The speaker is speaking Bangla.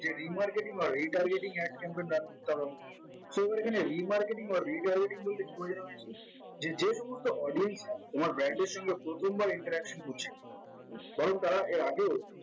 যে remarketing or retargeting ad campaign branch এর তরফ so এখানে remarketing or retargeting বলতে কি বোঝানো হয়েছে যে যে সমস্ত audience রা তোমার brand এর সঙ্গে প্রথমবার interaction করছে বরং তারা আগেও